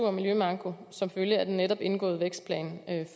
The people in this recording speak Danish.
og miljømanko som følge af den netop indgåede vækstplan